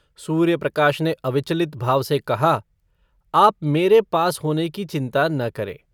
सूर्यप्रकाश ने अविचलित भाव से कहा - आप मेरे पास होने की चिन्ता न करें।